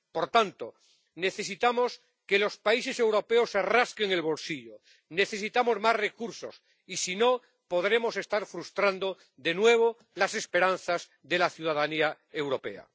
Por tanto, necesitamos que los países europeos se rasquen el bolsillo, necesitamos más recursos y, si no, podremos estar frustrando de nuevo las esperanzas de la ciudadanía europea.